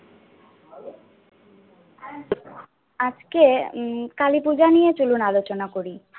আজকে উম কালীপূজা নিয়ে চলুন আলোচনা করি।